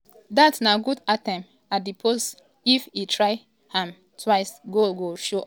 dat na good attempt um at di post if e try um am twixe goal go show up for nigeria.